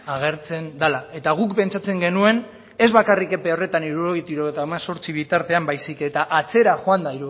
agertzen dela eta guk pentsatzen genuen ez bakarrik epe horretan hirurogeitik hirurogeita hemezortzi bitartean baizik eta atzera joanda